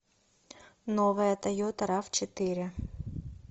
новая тойота рав четыре